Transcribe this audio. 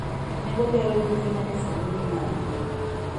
nengo gero ute ma nyasani ni malo